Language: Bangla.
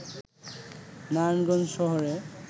নারায়ণগঞ্জ শহরে